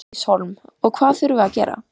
Bryndís Hólm: Og hvað þurfum við að gera?